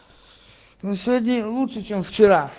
ну сегодня лучше чем вчера